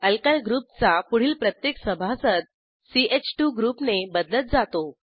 alkyl group चा पुढील प्रत्येक सभासद च2 ग्रुपने बदलत जातो